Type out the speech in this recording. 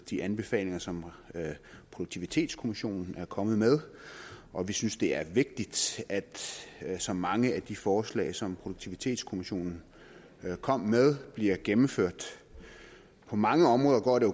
de anbefalinger som produktivitetskommissionen er kommet med og vi synes det er vigtigt at så mange af de forslag som produktivitetskommissionen kom med bliver gennemført på mange områder går det